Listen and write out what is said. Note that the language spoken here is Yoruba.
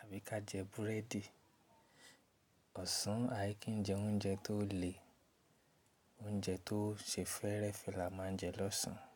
àbí ká jẹ búrẹ́dì. Ọ̀sán, a kì í jẹ oúnjẹ tó le. Oúnjẹ tó ṣe fẹ́rẹ́fẹ́ la máa ń jẹ lọ́sàn án.